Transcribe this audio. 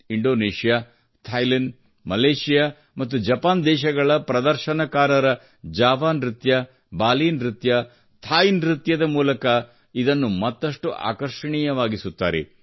Indonesia Thailand Malaysia ಮತ್ತು Japan ದೇಶಗಳ ಪ್ರದರ್ಶನಕಾರರ ಜಾವಾ ನೃತ್ಯ ಬಾಲೀ ನೃತ್ಯ ಥಾಯ್ ನೃತ್ಯದ ಮುಖಾಂತರ ಇದನ್ನು ಮತ್ತಷ್ಟು ಆಕರ್ಷಣೀಯವಾಗಿಸುತ್ತಾರೆ